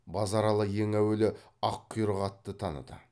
базаралы ең әуелі аққұйрық атты таныды